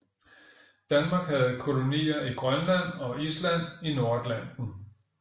Danmark havde kolonier i Grønland og Island i Nordatlanten